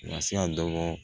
Masa dɔgɔ